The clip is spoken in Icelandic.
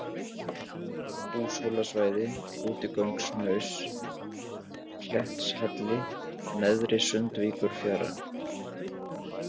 Húshólasvæða, Útigönguhnaus, Klettshalli, Neðri-Sandvíkurfjara